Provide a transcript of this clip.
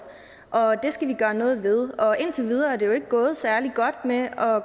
og det skal vi gøre noget ved indtil videre er det jo ikke gået særlig godt med at